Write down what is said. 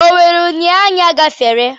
Onwere unyanya ọ bụla gafere?